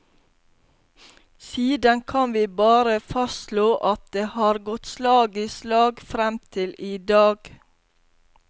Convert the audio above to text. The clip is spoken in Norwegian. Siden kan vi bare fastslå at det har gått slag i slag, frem til i dag.